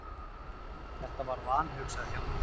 Þetta var vanhugsað hjá mér.